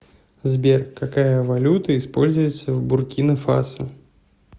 сбер какая валюта используется в буркина фасо